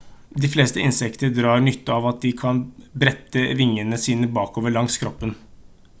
de fleste insekter drar nytte av at de kan brette vingene sine bakover langs kroppen